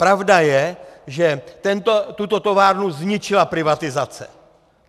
Pravda je, že tuto továrnu zničila privatizace.